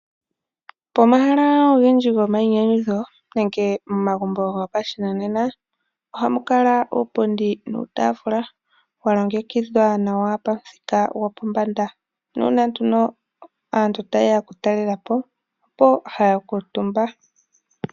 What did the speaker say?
Pomahala ogendji gomayinyanyudho nenge momagumbo gopashinanena ohamu kala uupundi nuutaafula wa longekidhwa nawa pomuthika gwopombanda nuuna aatula tayeya oku talelapo opo haya kuutumba.